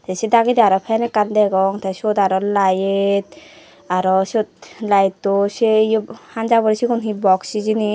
tese dagadi aro fan ekkan degong te seot aro lite aro seot liteo seyegu hanjaba hure siyun he box hijini.